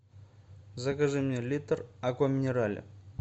закажи мне литр аква минерале